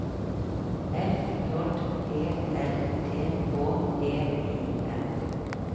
F J E L D H E I M